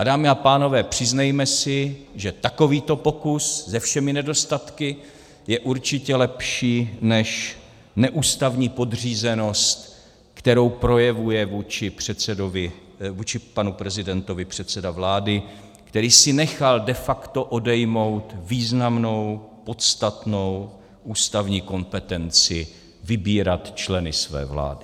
A dámy a pánové, přiznejme si, že takovýto pokus se všemi nedostatky je určitě lepší, než neústavní podřízenost, kterou projevuje vůči panu prezidentovi předseda vlády, který si nechal de facto odejmout významnou, podstatnou ústavní kompetenci vybírat členy své vlády.